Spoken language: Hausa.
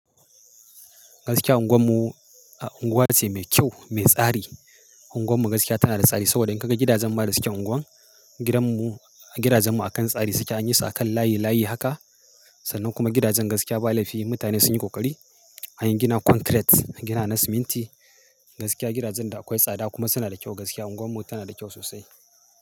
Gaskiya unguwarmu a unguwa ce mai kyau, mai tsari. Unguwar mu gaskiya tana da tsari saboda in ka ga gidajen ma da suke unguwar. Gidanmu, gidajenmu akan tsari suke anyi su akan layi layi haka. Sannan kuma gidajen gaskiya ba laifi mutane sun yi ƙoƙari. An yi gina concrete, gina na siminti. Gaskiya gidajen da akwai tsada kuma suna da kyau gaskiya. Unguwar mu tana da kyau sosai.